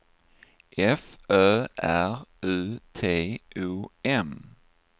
F Ö R U T O M